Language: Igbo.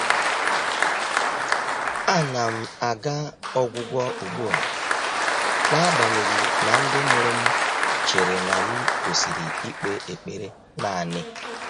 Ànà m àgà ọ́gwụ́gwọ́ ùgbú à, n’ágbànyéghị́ nà ndị́ mụ́rụ̀ m chèrè nà m kwèsị́rị́ íkpé ékpèré nāànị́.